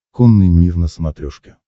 конный мир на смотрешке